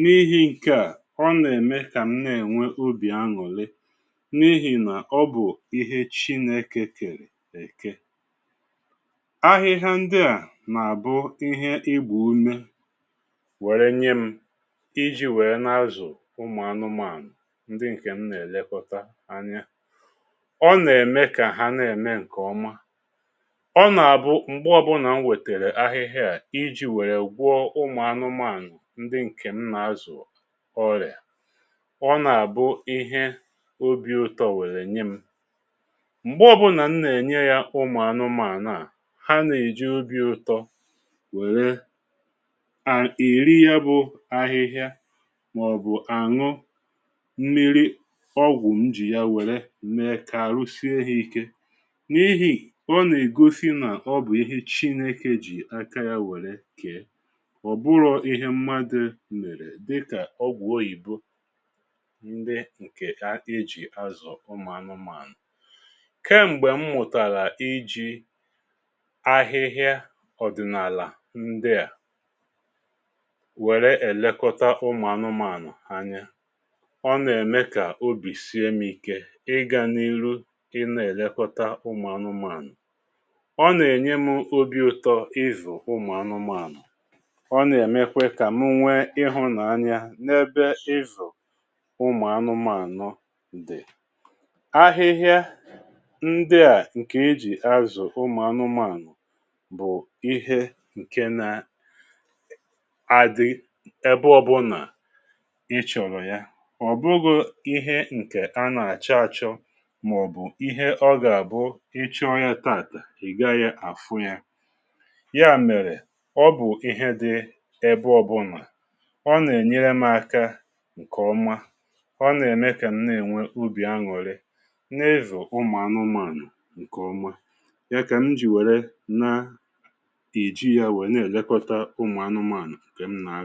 N’ihi ǹke à ọ nà-ème kà m na-ènwe obì aṅụ̀lị n’ihì nà ọ bụ̀ ihe chineke kèrè èke. Ahịhịa ndị à nà-àbụ ihe igba umė were nye m iji̇ wèe n’azụ̀ ụmụ̀anụmànụ̀ ndị ǹkè m nà-èlekọta anya. Ọ nà-ème kà ha na-ème ǹkè ọma. Ọ nà-abụ m̀gbe ọbụnà m wètèrè ahịhịa a iji̇ wèe gwụọ ụmụ̀anụmànụ̀ ndị ǹkè m nà-azụ̀ ọrịà, ọ nà-àbụ ihe obi ụtọ wère nye m. Mgbe ọbụnà m nà-ènye ya ụmụ̀anụmànụ̀ à ha nà-èji obi ụtọ were a eri ya bụ àhịhịa mà ọ̀bụ̀ àṅụ mmiri ọgwụ̀ m jì ya wère mèe kà àrụ sie hȧ ike. N’ihì ọ nà ègosi nà ọ bụ̀ ihe chinėkė jì aka yȧ wère kè. Ọ bụrọ̇ ihe mmadụ̇ mèrè dịkà ọgwụ̀ oyìbo ndị ǹkè a eji̇ azụ umù anumȧnụ̀ Kem̀gbè m mụ̀tàrà iji̇ ahịhịa ọ̀dị̀nàlà ndị à wère èlekọta ụmụ̀anụmànụ̀ anya, ọ nà-ème kà obì sie m̀ike ịgȧ n’iru ịnȧ èlekọta ụmụ̀anụmànụ̀. Ọ nà-ènye mụ obi̇ ụ̀tọ ịzụ̀ ụmụ̀anụmànụ̀. Ọ nà-èmekwe kà m nwee ihunànya n’ebe ịzụ̀ ụmụ̀anụmànụ̀ dì. Ahịhịa ndị à ǹkè ejì azụ̀ ụmụ̀anụmànụ̀ bụ̀ ihe ǹke na adị ebe ọbụla i chọ̀rọ̀ ya. Ọ bụghụ ihe ǹkè a nà-àchọ achọ mà ọ̀bụ̀ ihe ọ gà-àbụ ịchọ ya taà ị̀ gaghị àhụ ya, ya mèrè ọ bụ̀ ihe di ebe ọbụ̀nà, ọ nà-ènyere mȧ aka ǹkè ọma, ọ nà-ème kà m na-ènwe obì aṅụ̀rị n’ịzù ụmụ̀ anụmȧnụ̀ ǹkè ọma. Ya kà m jì wère na eji ya wee n’elekọta ụmụ̀anụmànụ̀ ǹkè m n’àzụ